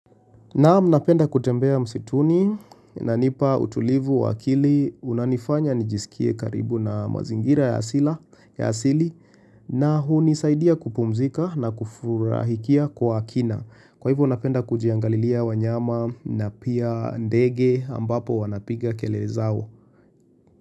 Naamu napenda kutembea msituni inanipa utulivu wa akili unanifanya nijisikie karibu na mazingira ya asili na hunisaidia kupumzika na kufurahikia kwa akina. Kwa hivyo napenda kujiangalilia wanyama na pia ndege ambapo wanapiga kelele zao.